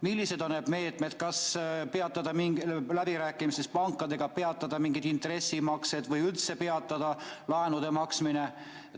Millised on need meetmed, kas läbirääkimistes pankadega peatada mingid intressimaksed või üldse peatada laenude maksmine?